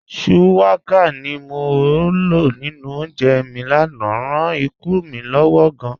Shuwaka ti mo lọ ninu ọ̀únjẹ́ mi lánà ráan ìkùn mi lọ́wọ̀ gáàn.